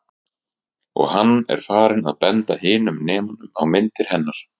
Og hann er farinn að benda hinum nemunum á myndir hennar.